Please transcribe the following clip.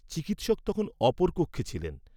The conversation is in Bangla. চিকিৎসক তখন অপর কক্ষে ছিলেন।